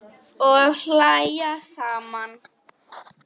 Og hlæja saman.